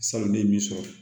Salonlen b'i sɔrɔ